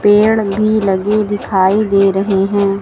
पेड़ भी लगे दिखाई दे रहे हैं।